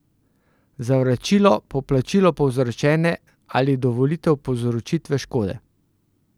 Za vračilo, poplačilo povzročene ali dovolitev povzročitve škode.